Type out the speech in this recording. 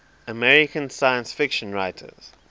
american science fiction writers